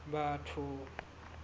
batho